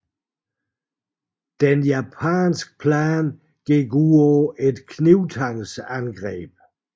Den japanske plan gik ud på et knibtangsangreb